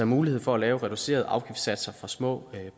mulighed for at lave reducerede afgiftssatser for små